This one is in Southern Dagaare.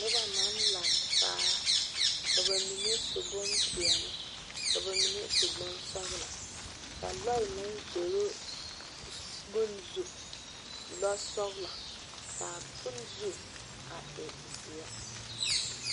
Noba naŋ laŋe taa ka ba mine su bonpɛɛle ka ba mine su bonsɔglɔ ka lɔɛ naŋ zoro bon zu lɔɔ sɔglɔ, kaa bon zu a e zeɛ